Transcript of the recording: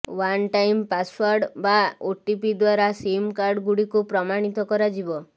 one time password ବା OTP ଦ୍ୱାରା SIM card ଗୁଡ଼ିକୁ ପ୍ରମାଣିତ କରାଯିବ